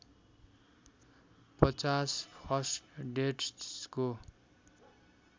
५० first डेट्सको